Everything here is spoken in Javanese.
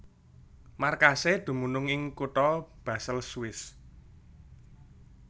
Markasé dumunung ing kutha Basel Swiss